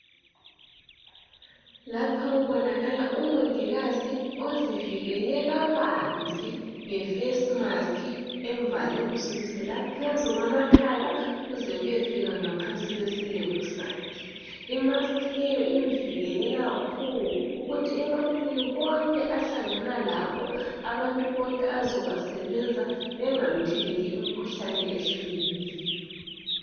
lapha kubonakala umongikazi ozivikele kabanzi ngefesi maski emvale sukusela phezu kwamakhala kuze kuyefika imaski leyi imvikele khulu ukuthi ebantwini bonke ahlangana labo abantu bonke azobasebenza bengamtheleli umkhuhlane.